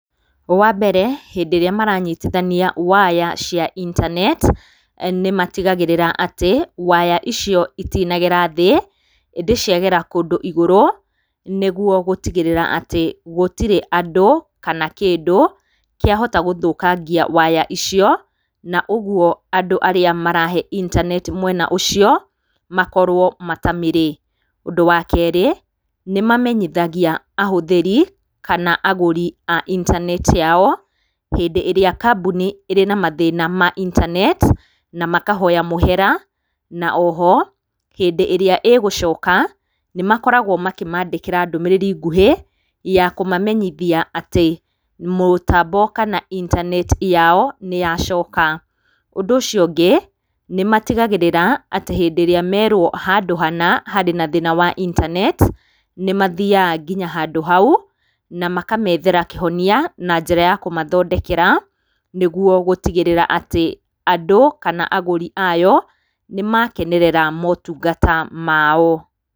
Wa mbere, hĩndĩ ĩrĩa marantitithania waya cia internet nĩmatigagĩrĩra atĩ waya icio itinagera thĩ, ĩndĩ ciagera kũndũ igũrũ nĩguo gũtigĩrĩra atĩ gũtirĩ andũ kana kĩndũ kĩahota gũthũkangia waya icio, na ũguo andũ arĩa marahe internet mwena ũcio makorwo matamĩrĩ. Ũndũ wa keerĩ, nĩ mamenyithagia ahũthĩri kana agũri a internet yao hĩndĩ ĩrĩa kambuni ĩ na mathĩna ma internet na makahoya mũhera na o ho hĩndĩ ĩria ĩgũcoka, nĩ makoragwo makĩmandĩkĩra ndũmĩrĩri nguhĩ ya kũmamenyithia atĩ mũtambo kana internet yao nĩyacoka. Ũndũ ũcio ũngĩ, nĩ matigagĩrĩra atĩ hĩndĩ ĩrĩa merwo handũ hana harĩ na thĩna wa internet, nĩmathiaga nginya handũ hau na makamethera kĩhonia na njĩra ya kũmathondekera nĩguo gũtigĩrĩra atĩ andũ kana agũri ayo nĩ makenerera motungata mao.